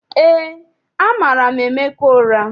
EÉ, amara m Emeka ụra.